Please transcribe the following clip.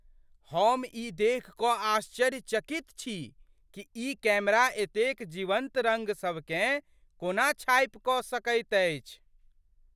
हम ई देखि कऽ आश्चर्यचकित छी कि ई कैमरा एतेक जीवन्त रङ्गसभकेँ कोना छापि कऽ सकैत अछि!